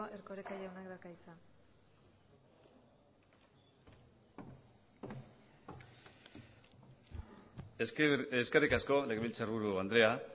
erkoreka jaunak dauka hitza eskerrik asko legebiltzarburu andrea